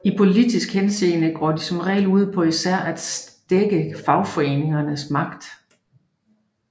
I politisk henseende går de som regel ud på især at stække fagforeningers magt